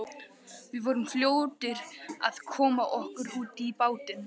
Við vorum fljótir að koma okkur út í bátinn.